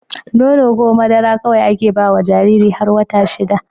Nono ko madara kawai ake bawa Jariri har wata shida